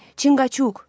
Çinqaçuk.